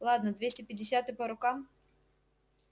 ладно двести пятьдесят и по рукам